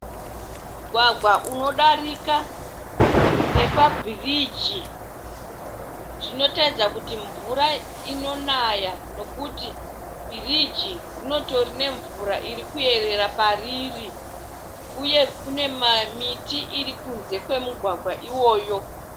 Mugwagwa unodarika nepa bhiriji. Zvinotatidza kuti mvura inoya nekuti bhiriji rinotori nemvura iri kuyerera pariri uye kune miti irikunze kwe mugwagwa uyoyo.